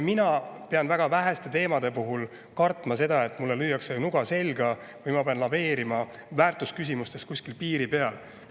Ma pean väga väheste teemade puhul kartma seda, et mulle lüüakse nuga selga või et ma pean laveerima väärtusküsimustes kuskil piiri peal.